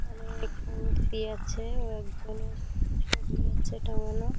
অনেক মূর্তি আছে ও একজনের ছবি আছে টাঙানো।